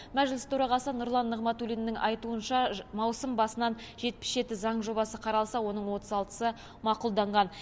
мәжіліс төрағасы нұрлан нығматулиннің айтуынша маусым басынан жетпіс жеті заң жобасы қаралса оның отыз алтысы мақұлданған